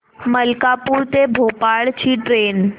मलकापूर ते भोपाळ ची ट्रेन